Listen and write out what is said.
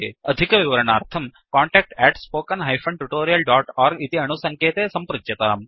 अधिकविवरणार्थं contact spoken tutorialorg इति अणुसङ्केते सम्पृच्यताम्